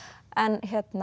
en